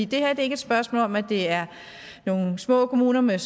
det her er ikke et spørgsmål om at det er nogle små kommuner med